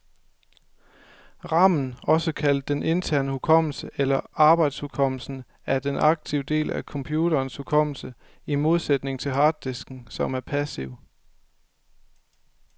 Ramen, også kaldet den interne hukommelse eller arbejdshukommelsen, er den aktive del af computerens hukommelse, i modsætning til harddisken, som er passiv.